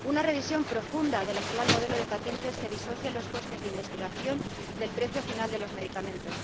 una revisión profunda del actual modelo de patentes, que disocie los costes de la investigación del precio final de los medicamentos